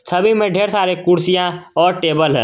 छवि में ढेर सारे कुर्सियां और टेबल हैं।